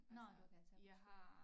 Nåh du kan tage på skole